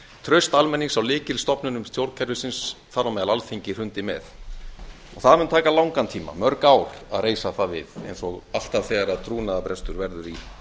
traust almennings á lykilstofnunum stjórnkerfisins þar á meðal alþingi hrundi með og það mun taka langan tíma mörg ár að reisa það við eins og alltaf þegar trúnaðarbrestur verður í